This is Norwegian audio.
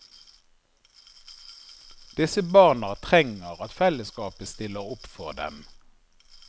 Disse barna trenger at fellesskapet stiller opp for dem.